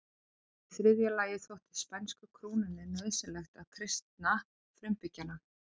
Í þriðja lagi þótti spænsku krúnunni nauðsynlegt að kristna frumbyggjana.